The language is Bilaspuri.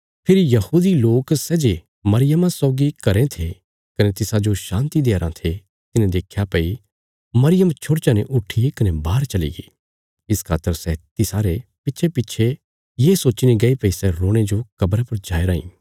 फेरी यहूदी लोक सै जे मरियमा सौगी घरें थे कने तिसाजो शान्ति देया राँ थे तिन्हें देख्या भई मरियम छोड़चा ने उट्ठीकने बाहर चलीगी इस खातर सै तिसारे पिच्छेपिच्छे ये सोच्चीने गये भई सै रोणे जो कब्रा पर जाया राँई